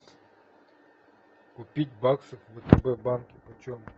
купить баксы в втб банке почем